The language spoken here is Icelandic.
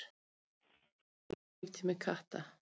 Hver er eðlilegur líftími katta?